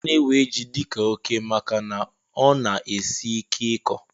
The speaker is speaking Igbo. Ana ewe jị dika óké màkà na ọ na- esị ike ịkọ